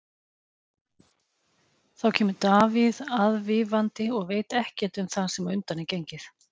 Þá kemur Davíð aðvífandi og veit ekkert um það sem á undan er gengið.